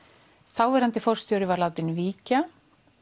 þáverandi forstjóri var látinn víkja